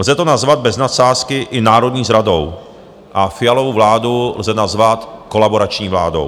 Lze to nazvat bez nadsázky i národní zradou a Fialovu vládu lze nazvat kolaborační vládou.